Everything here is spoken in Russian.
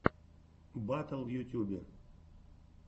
батл в ютюбе